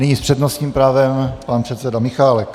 Nyní s přednostním právem pan předseda Michálek.